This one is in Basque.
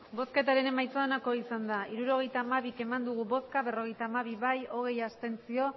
hirurogeita hamabi eman dugu bozka berrogeita hamabi bai hogei abstentzio